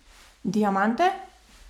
Diamante?